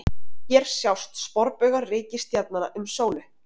Hér sjást sporbaugar reikistjarnanna um sólu.